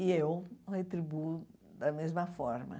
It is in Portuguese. E eu retribuo da mesma forma.